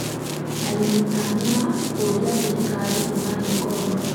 arĩmi a miraa kũũria thirikari ĩmahe ngombo.